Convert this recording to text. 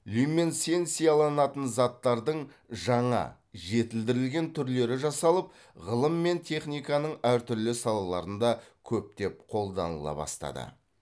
люминесценцияланатын заттардың жаңа жетілдірілген түрлері жасалып ғылым мен техниканың әр түрлі салаларында көптеп қолданыла бастады